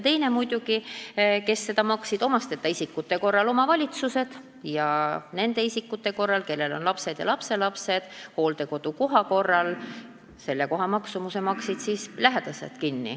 Teiseks maksid selle kinni omasteta isikute korral omavalitsused ja nende isikute korral, kellel on lapsed ja lapselapsed, maksid hooldekodukoha maksumuse kinni lähedased.